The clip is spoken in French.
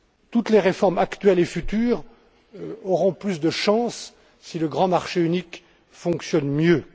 Toutes les réformes actuelles et futures auront plus de chances si le grand marché unique fonctionne mieux.